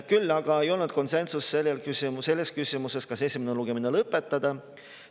Küll aga ei olnud konsensust selles küsimuses, kas esimene lugemine lõpetada.